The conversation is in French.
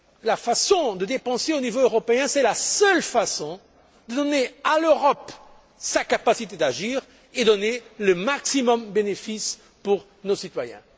La façon de dépenser au niveau européen, c'est la seule façon de donner à l'Europe sa capacité d'agir et d'apporter le maximum de bénéfices à nos citoyens.